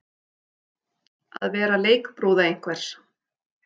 Að vera leikbrúða einhvers